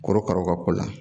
Korokaraw ka ko la